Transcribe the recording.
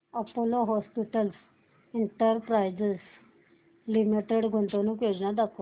Apollo hospitals enterprise limited गुंतवणूक योजना दाखव